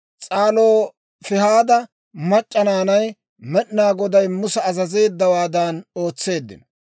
S'alofihaada mac'c'a naanay Med'inaa Goday Musa azazeeddawaadan ootseeddino.